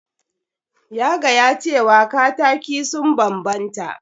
Ya gaya cewa kataki sun banbanta.